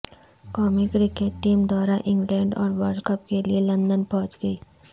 قومی cricket team دورہ England اور ورلڈ کپ کے لیے لندن پہنچ گئی